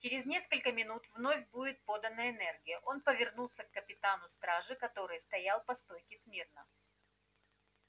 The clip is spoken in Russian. через несколько минут вновь будет подана энергия он повернулся к капитану стражи который стоял по стойке смирно